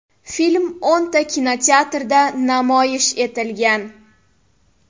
Film o‘nta kinoteatrda namoyish etilgan.